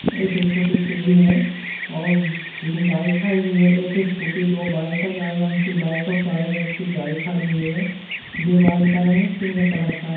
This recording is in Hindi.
यह जो छोटी सीढ़ी है और तीन गाड़ी खड़ी हुई है एक स्कूटी दो बाइक है लाल रंग की बाइक है और काले रंग की गाड़ी खड़ी है दीवाल का रंग पिंक कलर का ।